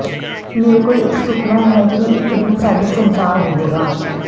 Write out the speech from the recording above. ਮੇਰੇ ਕੋਲ ਇੱਕ ਸੁਪਨਾ ਹੈ ਕਿ ਇਕ ਦਿਨ ਸਾਡੀ ਸੰਸਾਰ ਹੋਵੇਗਾ